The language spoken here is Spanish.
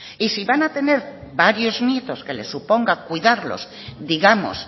y si van a tener varios nietos que les suponga cuidarlos digamos